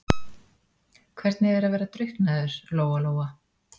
Hvernig er að vera drukknaður, Lóa-Lóa?